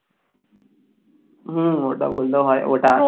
হম ওটা বললেও হয় ওটা